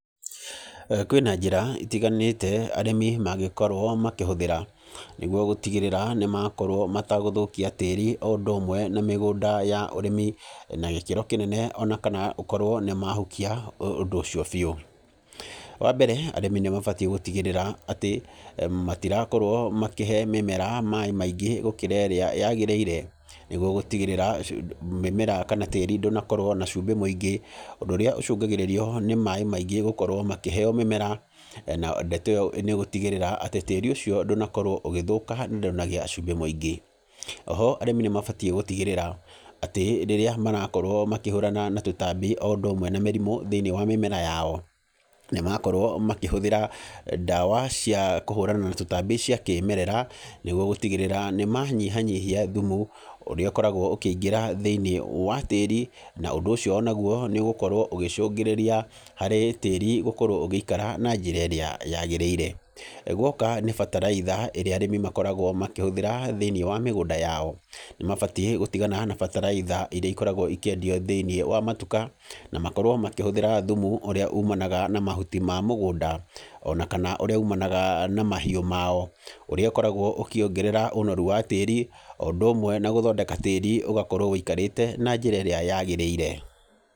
Kwĩna njĩra itiganĩte arĩmi mangĩkorwo makĩhũthĩra nĩguo gũtigĩrĩra nĩ makorwo matagũthũkia tĩĩri o ũndũ ũmwe na mĩgũnda ya ũrĩmi na gĩkĩro kĩnene ona kana ũkorwo nĩ mahukia ũndũ ũcio biu. Wa mbere arĩmi nĩ mabatiĩ gũtigĩrĩra atĩ matirakorwo makĩhe mĩmera maaĩ maingĩ gũkĩra ĩrĩa yagĩrĩire. Nĩguo gũtigĩrĩra mĩmera kana tĩĩri ndũnakorwo na cumbĩ mũingĩ, ũndũ ũrĩa ũcũngagĩrĩrio nĩ maaĩ maingĩ gũkorwo makĩheo mĩmera na ndeto ĩyo nĩ ĩgũtigĩrĩra atĩ tĩĩri ũcio ndũnakorwo ũgĩthũka na ndũnagĩa cumbĩ mũingĩ. Oho arĩmi nĩ mabatiĩ gũtigĩrĩra atĩ rĩrĩa marakorwo makĩhũrana na tũtambi o ũndũ ũmwe na mĩrimũ thĩiniĩ wa mĩmera yao nĩ makorwo makĩhũthĩra ndawa cia kũhũrana na tũtambi cia kĩmerera nĩguo gũtigĩrĩra nĩ manyihanyihia thumu ũrĩa ũkoragwo ũkĩingĩra thĩiniĩ wa tĩĩri, na ũndũ ũcio onaguo nĩ ũgũkorwo ũgĩcũngĩrĩria harĩ tĩĩri gũkorwo ũgĩikara na njĩra ĩrĩa yagĩrĩire. Guoka nĩ bataraitha ĩrĩa arĩmi makoragwo makĩhũthĩra thĩiniĩ wa mĩgũnda yao nĩ mabatiĩ gũtigana na bataraitha iria ikoragwo ikĩendio thĩiniĩ wa matuka, na makorwo makĩhũthĩra thumu ũrĩa ũmanaga na mahuti ma mũgũnda, ona kana ũrĩa ũmanaga na mahiũ mao, ũrĩa ũkoragwo ũkĩongerera ũnoru wa tĩĩri, o ũndũ ũmwe na gũthondeka tĩĩri ũgakorwo wũikarĩte na njĩra ĩrĩa yagĩrĩire